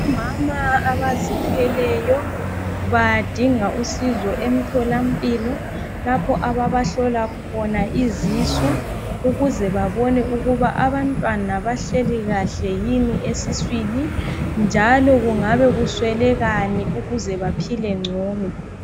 Omama abazithweleyo, badinga usizo emthola mpilo. Lapho ababahlola khona izisu, ukuze babone ukuba abantwana bahleli kahle yini esiswini, njalo kungabe kuswelekani ukuze baphile ngcono.